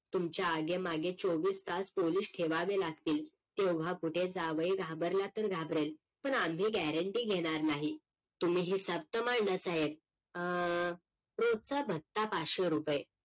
तुमच्या आगे मागे चोवीस तास पोलीस ठेवावे लागतील तेव्हा कुठे जावई घाबरला तर घाबरेल पण आम्ही guarantee घेणार नाही तुम्ही हिसाब तर मांडा साहेब अं रोजचा भत्ता पाचशे रुपय